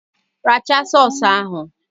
Rachara sọọs ahụ!